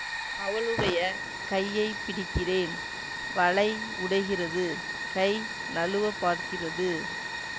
அவளுடைய கையை பிடிக்கிறேன் வளை உடைகிறது கை நழுவப் பார்க்கிறது